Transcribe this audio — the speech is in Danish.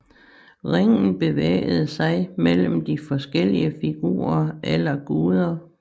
Ringen bevægede sig mellem de forskellige figurer eller guder